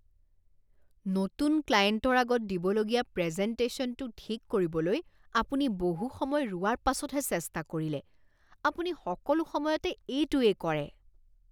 নতুন ক্লায়েণ্টৰ আগত দিবলগীয়া প্ৰেজেণ্টেশ্যনটো ঠিক কৰিবলৈ আপুনি বহু সময় ৰোৱাৰ পাছতহে চেষ্টা কৰিলে। আপুনি সকলো সময়তে এইটোৱেই কৰে।